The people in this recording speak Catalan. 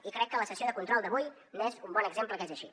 i crec que la sessió de control d’avui n’és un bon exemple que és així